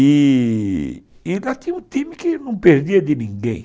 E lá tinha um time que não perdia de ninguém.